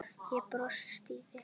Ég brosi stíft.